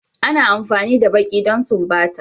Ana amfani da baki don sumbata.